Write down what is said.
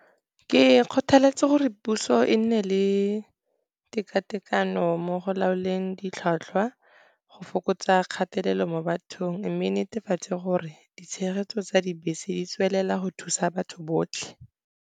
Ke kgotheletsa gore puso e nne le teka-tekano mo go laoleng ditlhwatlhwa go fokotsa kgatelelo mo bathong, mme e netefatse gore ditshegetso tsa dibese di tswelela go thusa batho botlhe.